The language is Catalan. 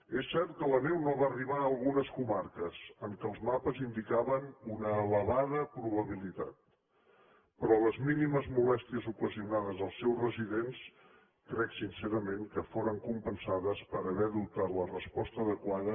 és cert que la neu no va arribar a algunes comarques en què els mapes n’indicaven una elevada probabilitat però les mínimes molèsties ocasionades als seus residents crec sincerament que foren compensades per haver adoptat la resposta adequada